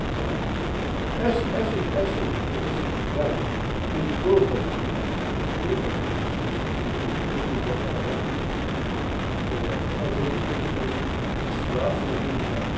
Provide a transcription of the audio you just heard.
Então, essa, essa, essa, essa entidade tentou fazer o carnaval, tentou fazer, como eu disse a vocês, tentou organizar o carnaval, eh, fazer com que as escolas desfilassem organizadas.